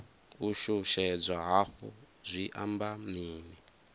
u shushedzwa hafhu zwi amba mini